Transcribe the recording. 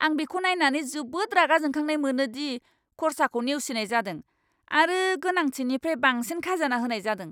आं बेखौ नायनानै जोबोद रागा जोंखांनाय मोनो दि खरसाखौ नेवसिनाय जादों, आरो गोनांथिनिफ्राय बांसिन खाजोना होनाय जादों।